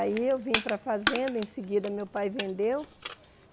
Aí eu vim para a fazenda, em seguida meu pai vendeu.